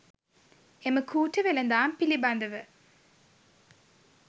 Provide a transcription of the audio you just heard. එම කූට වෙළඳාම් පිළිබඳව